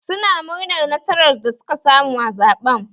Su na murnar nasarar da suka samu a zaɓen